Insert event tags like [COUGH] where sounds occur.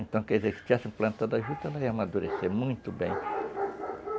Então, quer dizer, se tivessem plantado a juta, não ia amadurecer muito bem. [NOISE]